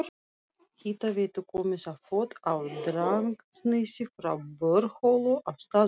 Hitaveitu komið á fót á Drangsnesi frá borholu á staðnum.